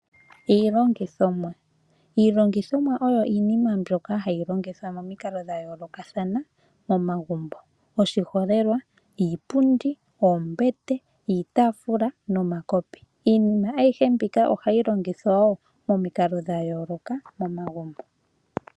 Iilongithomwa Iilongithomwa oyo iinima mbyoka hayi longithwa momikalo dha yoolokathana momagumbo, oshiholelwa iipundi, oombete, iitaafula nomakopi. Iinima ayihe mbika ohayi longithwa wo momikalo dha yoolokathana momagumbo.